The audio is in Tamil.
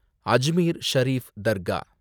அஜ்மீர் ஷரீஃப் தர்கா